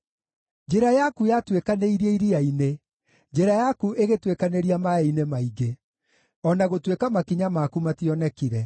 Njĩra yaku yatuĩkanĩirie iria-inĩ, njĩra yaku ĩgĩtuĩkanĩria maaĩ-inĩ maingĩ, o na gũtuĩka makinya maku mationekire.